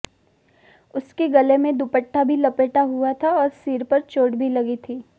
उसके गले में दुपट्टा भी लपेटा हुआ था और सिर पर चोट भी लगी थी